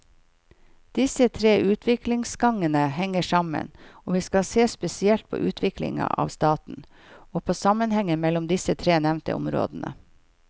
Disse tre utviklingsgangene henger sammen, og vi skal se spesielt på utviklinga av staten, og på sammenhenger mellom disse tre nevnte områdene.